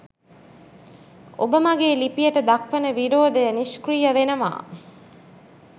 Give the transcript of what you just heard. ඔබ මගේ ලිපියට දක්වන විරෝධය නිෂ්ක්‍රීය වෙනවා